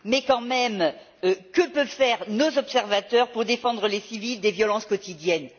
Mais quand même, que peuvent faire nos observateurs pour défendre les civils des violences quotidiennes?